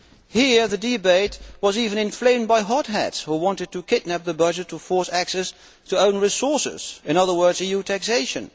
Here, the debate was even inflamed by hotheads who wanted to kidnap the budget to force access to own resources, in other words, EU taxation.